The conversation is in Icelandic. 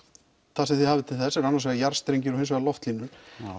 það sem þið hafið til þess eru jarðstrengir og loftlínur